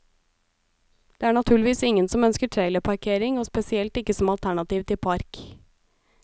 Det er naturligvis ingen som ønsker trailerparkering, og spesielt ikke som alternativ til park.